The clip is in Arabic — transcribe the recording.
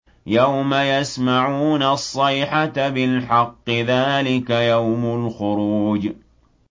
يَوْمَ يَسْمَعُونَ الصَّيْحَةَ بِالْحَقِّ ۚ ذَٰلِكَ يَوْمُ الْخُرُوجِ